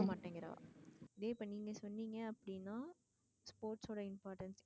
கேக்க மாட்டேன்ங்ரா. அதுவே இப்ப நீங்க சொன்னீங்க அப்டினா sports சோட importance